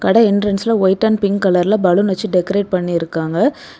அட என்ட்ரன்ஸ்ல white and pink கலர்ல பலூன் வைச்சி டெகரேட் பண்ணிருக்காங்க.